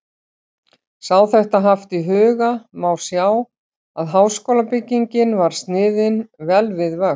Sé þetta haft í huga, má sjá, að háskólabyggingin var sniðin vel við vöxt.